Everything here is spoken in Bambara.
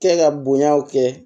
Kɛ ka bonyaw kɛ